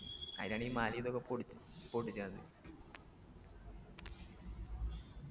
അയിനാണീ മലയിതൊക്കെ പൊടി പൊട്ടിക്കണത്